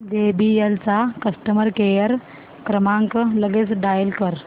JBL चा customer care क्रमांक लगेच डायल कर